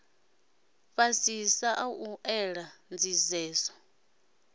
fhasisa a u ela nḓisedzo